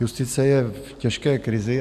Justice je v těžké krizi.